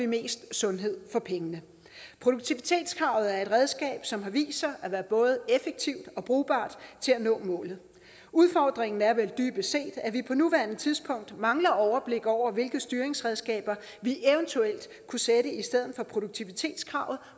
mest sundhed for pengene produktivitetskravet er et redskab som har vist sig at være både effektivt og brugbart til at nå målet udfordringen er vel dybest set at vi på nuværende tidspunkt mangler overblik over hvilke styringsredskaber vi eventuelt kunne sætte i stedet for produktivitetskravet